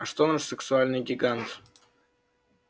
а что наш сексуальный гигант